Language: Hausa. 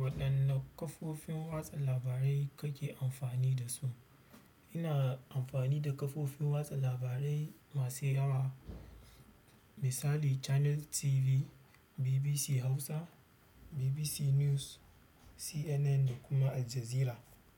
Waɗanne kafofin watsa labarai kake amfani da su? Ina amfani da kafofin watsa labarai masu yawa, misali Channels TV, BBC Hausa, BBC News, CNN da kuma Aljazeera.